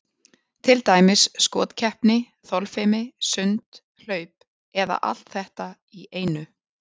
Til dæmis skotkeppni, þolfimi, sund, hlaup eða allt þetta í einu.